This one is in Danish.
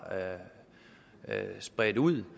bredt ud